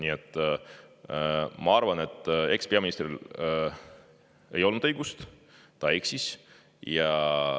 Nii et ma arvan, et ekspeaministril ei olnud õigus, ta eksis.